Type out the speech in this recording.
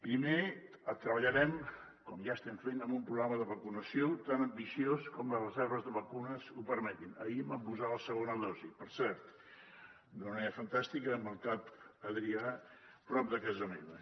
primer treballarem com ja estem fent amb un programa de vacunació tan ambiciós com les reserves de vacunes ho permetin ahir em van posar la segona dosi per cert d’una manera fantàstica i en el cap adrià prop de casa meva